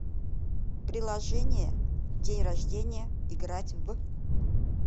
приложение день рождения играть в